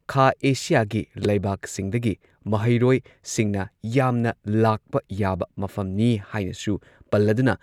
ꯈꯥ ꯑꯦꯁꯤꯌꯥꯒꯤ ꯂꯩꯕꯥꯛꯁꯤꯡꯗꯒꯤ ꯃꯍꯩꯔꯣꯏꯁꯤꯡꯅ ꯌꯥꯝꯅ ꯂꯥꯛꯄ ꯌꯥꯕ ꯃꯐꯝꯅꯤ ꯍꯥꯏꯅꯁꯨ ꯄꯜꯂꯗꯨꯅ